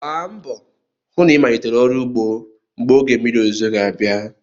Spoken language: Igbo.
Gbaa mbọ hụ na ịmalitere ọrụ ugbo mgbe oge mmiri ozuzo ga-abịa.